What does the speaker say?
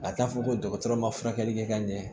A t'a fɔ ko dɔgɔtɔrɔ ma furakɛli kɛ ka ɲɛ